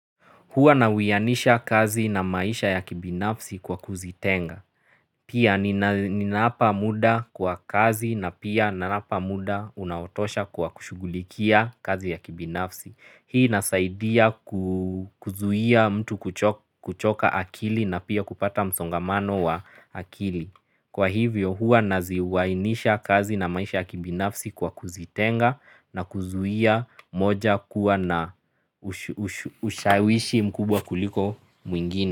Huwa na uyanisha kazi na maisha ya kibinafsi kwa kuzitenga. Pia ninaapa muda kwa kazi na pia ninaapa muda unaotosha kwa kushugulikia kazi ya kibinafsi. Hii nasaidia kuzuia mtu kuchoka akili na pia kupata msongamano wa akili. Kwa hivyo huwa naziwainisha kazi na maisha akibinafsi kwa kuzitenga na kuzuhia moja kuwa na ushawishi mkubwa kuliko mwingine.